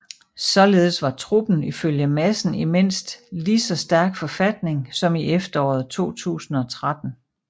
Således var truppen ifølge Madsen i mindst ligeså stærk forfatning som i efteråret 2013